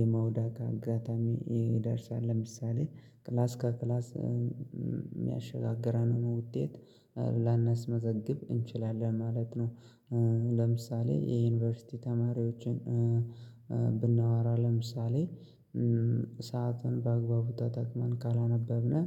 የመውደቅ አጋጣሚ ይደርሳል ለምሳሌ ክላስ ከክላስ የሚያሸጋግረን ሆኖ ውጤት ላናስመዘግብ እንችላለን ማለት ነው። ለምሳሌ የዩኒቨርሲቲ ተማሪዎችን ብናወራ ለምሳሌ ሰዓትን በአግባቡ ተጠቅመን ካላነበብነው